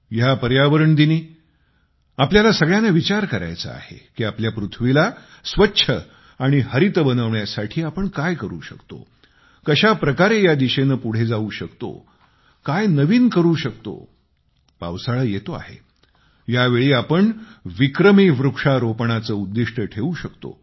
ह्या पर्यावरण दिनी आपल्याला सगळ्यांना विचार करायचा आहे की आपल्या पृथ्वीला स्वच्छ आणि हरित बनवण्यासाठी आपण काय करू शकतो कशा प्रकारे या दिशेने पुढे जाऊ शकतो काय नवीन करू शकतो पावसाळा येतो आहे यावेळी आपण विक्रमी वृक्षारोपणाचे उद्दिष्ट ठेवू शकतो